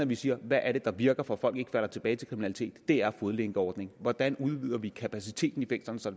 vi siger hvad er det der virker for at folk ikke falder tilbage til kriminalitet det er fodlænkeordningen hvordan udvider vi kapaciteten i fængslerne så